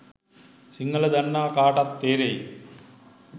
සිංහල දන්නා කාටත් තේරෙයි.